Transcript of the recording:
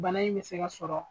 Bana in be se ka sɔrɔ